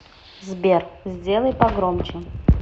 сбер сделай погромче